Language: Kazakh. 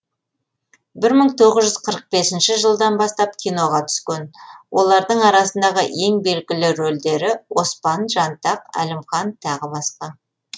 бір мың тоғыз жүз қырық бесінші жылдан бастап киноға түскен олардың арасындағы ең белгілі рөлдері оспан жантақ әлімхан тағы басқа